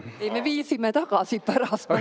Ei, me viisime selle tagasi pärast.